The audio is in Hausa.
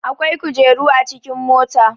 akwai kujeru a cikin mota